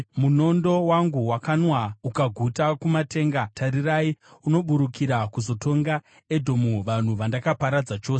Munondo wangu wakanwa ukaguta kumatenga; tarirai, unoburukira kuzotonga Edhomu, vanhu vandakaparadza chose.